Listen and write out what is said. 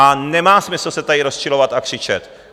A nemá smysl se tady rozčilovat a křičet.